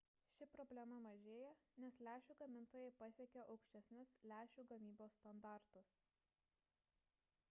ši problema mažėja nes lęšių gamintojai pasiekia aukštesnius lęšių gamybos standartus